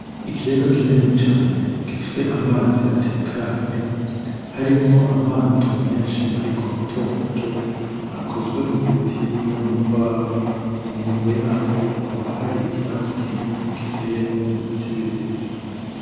Ikiyaga kinini cane gifise amazi atekanye harimwo amato menshi ariko matomato akozwe mu biti no mu mbaho, ku nkombe yaho hakaba hari ikibanza kinini giteyemwo ibiti birebire.